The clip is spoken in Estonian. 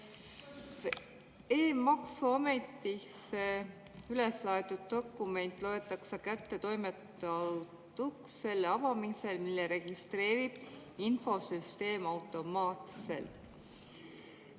E‑maksuametisse üleslaaditud dokument loetakse kättetoimetatuks selle avamisel, selle registreerib infosüsteem automaatselt.